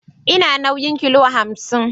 Ina nauyin kilo hamsin